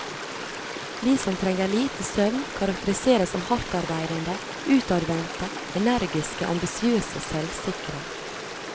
De som trenger lite søvn karakteriseres som hardtarbeidende, utadvendte, energiske, ambisiøse og selvsikre.